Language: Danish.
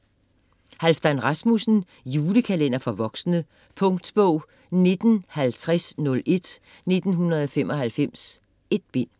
Rasmussen, Halfdan: Julekalender for voksne Punktbog 195001 1995. 1 bind.